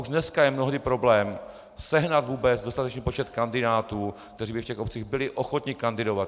Už dneska je mnohdy problém sehnat vůbec dostatečný počet kandidátů, kteří by v těch obcích byli ochotni kandidovat.